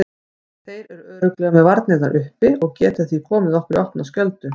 Þeir eru örugglega með varnirnar uppi og geta því komið okkur í opna skjöldu.